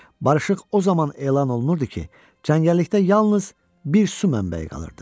Barışıq o zaman elan olunurdu ki, cəngəllikdə yalnız bir su mənbəyi qalırdı.